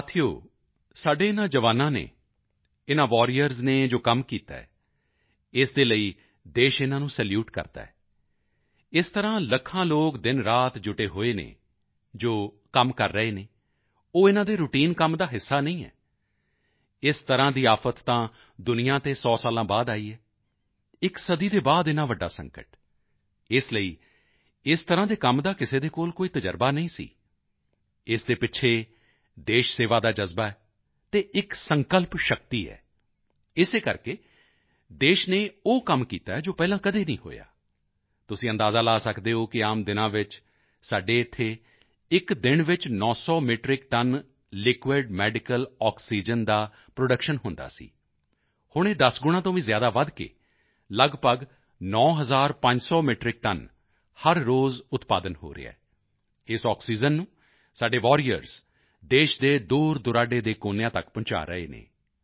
ਸਾਥੀਓ ਸਾਡੇ ਇਨ੍ਹਾਂ ਜਵਾਨਾਂ ਨੇ ਇਨ੍ਹਾਂ ਵਾਰੀਅਰਜ਼ ਨੇ ਜੋ ਕੰਮ ਕੀਤਾ ਹੈ ਇਸ ਦੇ ਲਈ ਦੇਸ਼ ਇਨ੍ਹਾਂ ਨੂੰ ਸੈਲੂਟ ਕਰਦਾ ਹੈ ਇਸੇ ਤਰ੍ਹਾਂ ਲੱਖਾਂ ਲੋਕ ਦਿਨਰਾਤ ਜੁਟੇ ਹੋਏ ਹਨ ਜੋ ਕੰਮ ਉਹ ਕਰ ਰਹੇ ਹਨ ਉਹ ਇਨ੍ਹਾਂ ਦੇ ਰਾਉਟਾਈਨ ਕੰਮ ਦਾ ਹਿੱਸਾ ਨਹੀਂ ਹੈ ਇਸ ਤਰ੍ਹਾਂ ਦੀ ਆਫ਼ਤ ਤਾਂ ਦੁਨੀਆ ਤੇ 100 ਸਾਲਾਂ ਬਾਅਦ ਆਈ ਹੈ ਇੱਕ ਸਦੀ ਦੇ ਬਾਅਦ ਇੰਨਾ ਵੱਡਾ ਸੰਕਟ ਇਸ ਲਈ ਇਸ ਤਰ੍ਹਾਂ ਦੇ ਕੰਮ ਦਾ ਕਿਸੇ ਦੇ ਕੋਲ ਕੋਈ ਤਜ਼ਰਬਾ ਨਹੀਂ ਸੀ ਇਸ ਦੇ ਪਿੱਛੇ ਦੇਸ਼ ਸੇਵਾ ਦਾ ਜਜ਼ਬਾ ਹੈ ਅਤੇ ਇੱਕ ਸੰਕਲਪ ਸ਼ਕਤੀ ਹੈ ਇਸੇ ਕਰਕੇ ਦੇਸ਼ ਨੇ ਉਹ ਕੰਮ ਕੀਤਾ ਹੈ ਜੋ ਪਹਿਲਾਂ ਕਦੇ ਨਹੀਂ ਹੋਇਆ ਤੁਸੀਂ ਅੰਦਾਜ਼ਾ ਲਗਾ ਸਕਦੇ ਹੋ ਕਿ ਆਮ ਦਿਨਾਂ ਵਿੱਚ ਸਾਡੇ ਇੱਥੇ ਇੱਕ ਦਿਨ ਵਿੱਚ 900 metric ton liquid medical oxygen ਦਾ ਪ੍ਰੋਡਕਸ਼ਨ ਹੁੰਦਾ ਸੀ ਹੁਣ ਇਹ 10 ਗੁਣਾਂ ਤੋਂ ਵੀ ਜ਼ਿਆਦਾ ਵਧ ਕੇ ਲੱਗਭਗ 9500 ਮੈਟਰਿਕ ਟਨ ਹਰ ਰੋਜ਼ ਉਤਪਾਦਨ ਹੋ ਰਿਹਾ ਹੈ ਇਸ ਆਕਸੀਜਨ ਨੂੰ ਸਾਡੇ ਵਾਰੀਅਰਜ਼ ਦੇਸ਼ ਦੇ ਦੂਰਦੁਰਾਡੇ ਕੋਨਿਆਂ ਤੱਕ ਪਹੁੰਚਾ ਰਹੇ ਹਨ